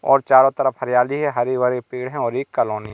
और चारों तरफ हरियाली है हरी भरी पेड़ हैं और एक कॉलोनी --